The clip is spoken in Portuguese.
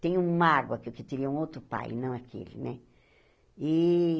Tem mágoa que eu um outro pai, não aquele, né? E